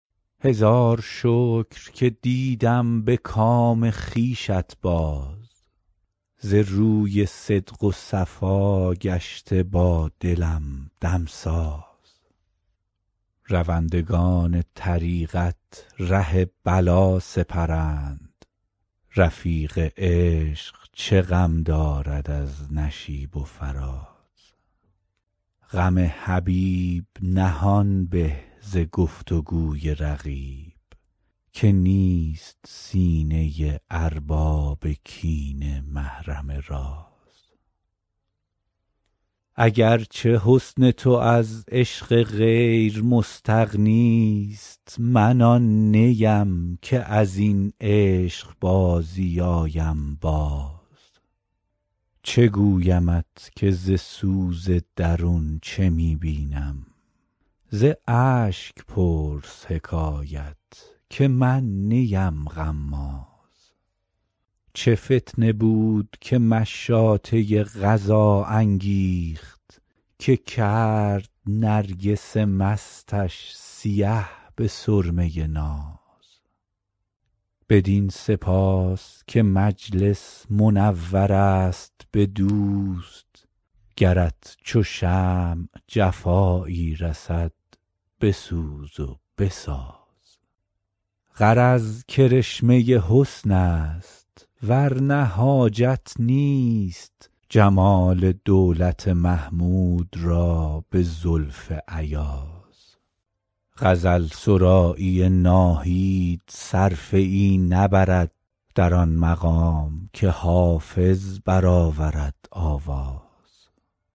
هزار شکر که دیدم به کام خویشت باز ز روی صدق و صفا گشته با دلم دمساز روندگان طریقت ره بلا سپرند رفیق عشق چه غم دارد از نشیب و فراز غم حبیب نهان به ز گفت و گوی رقیب که نیست سینه ارباب کینه محرم راز اگر چه حسن تو از عشق غیر مستغنی ست من آن نیم که از این عشق بازی آیم باز چه گویمت که ز سوز درون چه می بینم ز اشک پرس حکایت که من نیم غماز چه فتنه بود که مشاطه قضا انگیخت که کرد نرگس مستش سیه به سرمه ناز بدین سپاس که مجلس منور است به دوست گرت چو شمع جفایی رسد بسوز و بساز غرض کرشمه حسن است ور نه حاجت نیست جمال دولت محمود را به زلف ایاز غزل سرایی ناهید صرفه ای نبرد در آن مقام که حافظ برآورد آواز